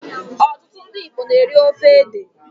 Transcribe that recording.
Most Igbos eat cocoyam soup.